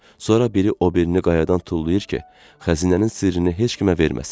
Sonra biri o birini qayadan tullayır ki, xəzinənin sirrini heç kimə verməsin.